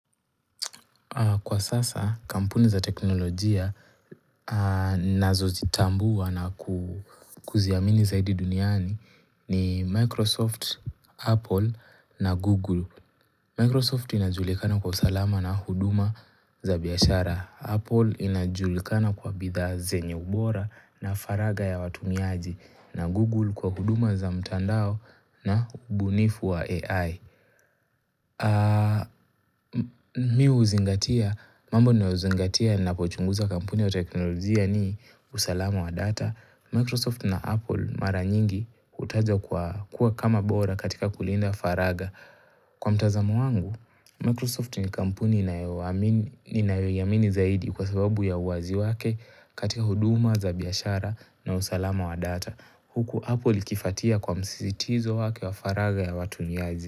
Kwa sasa kampuni za teknolojia ninazozitambua na kuziamini zaidi duniani ni Microsoft, Apple na Google. Microsoft inajulikana kwa usalama na huduma za biashara. Apple inajulikana kwa bidhaa zenye ubora na faraga ya watumiaji na Google kwa huduma za mtandao na ubunifu wa AI. Mi huzingatia, mambo ninaozingatia napochunguza kampuni ya teknolojia ni usalamu wa data Microsoft na Apple mara nyingi hutajwa kwa kuwa kama bora katika kulinda faragha Kwa mtazamo wangu, Microsoft ni kampuni ninayo amini ninayoiamini zaidi kwa sababu ya uwazi wake katika huduma za biashara na usalamu wa data Huku Apple ikifatia kwa msizitizo wake wa faragha ya watumiaji.